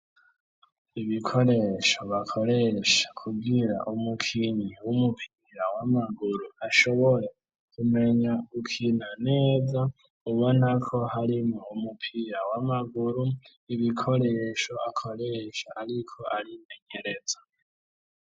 Ibikoresho bakoresha kubwira umukinyi w'umupira w'amaguru ashobore kumenya ukina neza ubonako harimo umupira w'amaguru ibikoresho akoresha ariko arimenyereza.